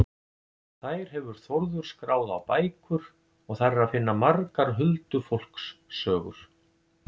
Þær hefur Þórður skráð á bækur og þar er að finna margar huldufólkssögur.